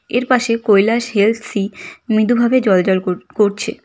এর পাশে কৈলাস হেলথ সি মৃদুভাবে জ্বলজ্বল কর করছে।